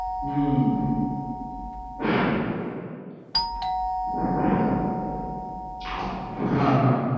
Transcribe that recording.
हम्म हा ह